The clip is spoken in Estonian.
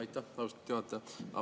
Aitäh, austatud juhataja!